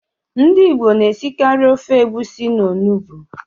Ndị Igbo na-esikarị ofe egwusi na Onugbu